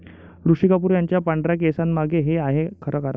ऋषी कपूर यांच्या पांढऱ्या केसांंमागे 'हे' आहे खरं कारण